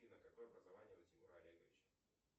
афина какое образование у тимура олеговича